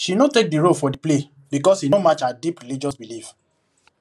she no take the role for the play because e no match her deep religious belief